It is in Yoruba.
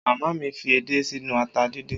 Màmá mi fi edé sínú ata díndín